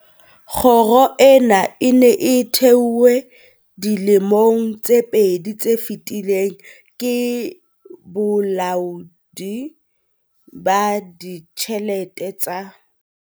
Kgoro ena e ne e thehwe dilemong tse pedi tse fetileng ke Bolaodi ba Ditjhelete tsa